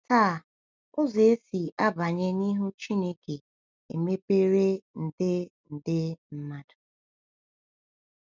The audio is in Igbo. Taa, ụzọ esi abanye n’ihu Chineke emepere nde nde mmadụ!